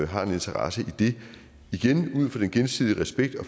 har en interesse i det igen ud fra en gensidig respekt og